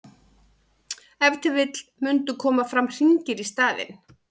ef til vill mundu koma fram hringir í staðinn